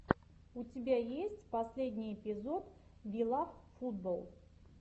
у тебя есть последний эпизод вилавфутболл